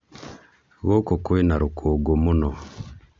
Gũkũ kwĩna rũkũngũ mũno